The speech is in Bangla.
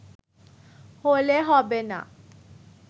হলে হবে না